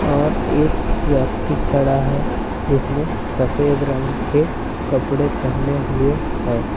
और एक व्यक्ति खड़ा है जिसने सफेद रंग कपड़े पहने हुए है।